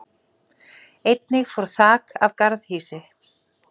Einnig fór þak af garðhýsi